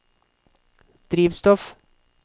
drivstoff